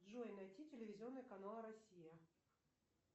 джой найти телевизионный канал россия